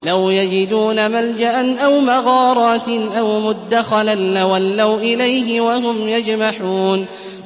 لَوْ يَجِدُونَ مَلْجَأً أَوْ مَغَارَاتٍ أَوْ مُدَّخَلًا لَّوَلَّوْا إِلَيْهِ وَهُمْ يَجْمَحُونَ